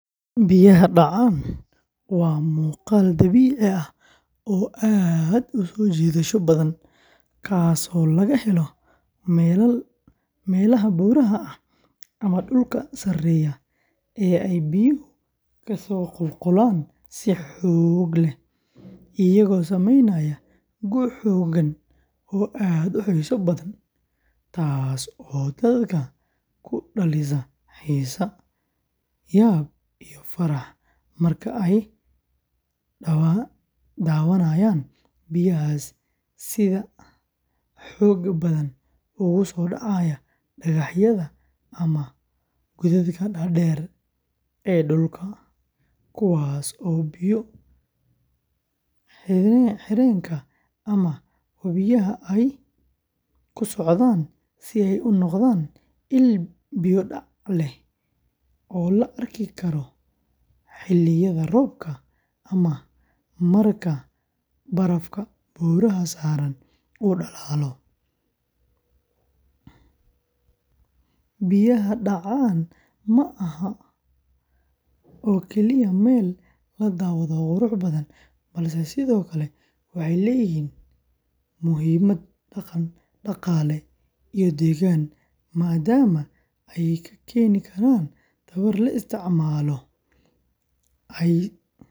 Biyaha daca waa muqal, waa muqal dabici ah oo aad uso jidasha badan kas oo laga helo melaha buraha ah ama dulka sareya ee biyahu kaso qul qulan si xog leh, iyaga oo sameynaya aad u xisa badan tas oo dadka ku dalisa yab iyo farax marka dawanayan biyahas sitha xoga badan oo u sodaca digax yadha ama godadka dar deer ee durka kuwas oo biya xirenka ama biyaha ee kusocdan ee u noqdan biyo dac leh oo la arki karo xiliyaada robka ama barafka robka marka u dalalo, biyaha dacan maha meel kali ah oo ladawadho balse sithokale waxee leyihin muhiimaad daqale iyo degan madama ee ka keni karan kahore laisticmalo.